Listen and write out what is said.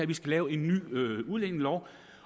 vi lave en ny udlændingelov